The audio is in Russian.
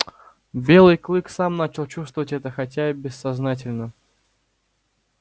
белый клык сам начал чувствовать это хотя и бессознательно